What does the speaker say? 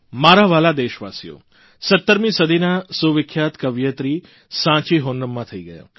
મારા વ્હાલા દેશવાસીઓ 17મી સદીનાં સુવિખ્યાત કવિયત્રી સાંચી હોનમ્મા થઇ ગયા